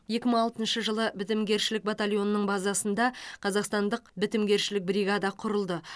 екі мың алтыншы жылы бітімгершілік батальонының базасында қазақстандық бітімгершілік бригада құрылды